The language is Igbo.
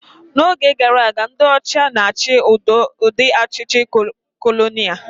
N'oge gara aga, ndị ọcha na-achị udị ọchịchị kolonia